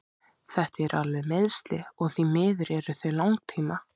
Þetta eru alvarleg meiðsli og því miður eru þau langtíma.